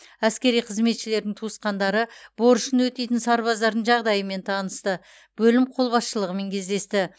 әскери қызметшілердің туысқандары борышын өтейтін сарбаздардың жағдайымен танысты бөлім қолбасшылығымен кездесті